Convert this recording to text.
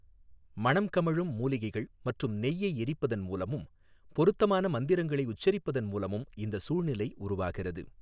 மணம் கமழும் மூலிகைகள் மற்றும் நெய்யை எரிப்பதன் மூலமும், பொருத்தமான மந்திரங்களை உச்சரிப்பதன் மூலமும் இந்த சூழ்நிலை உருவாகிறது.